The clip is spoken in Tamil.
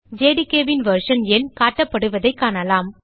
jdkன் வெர்ஷன் எண் காட்டப்படுவதைக் காணலாம்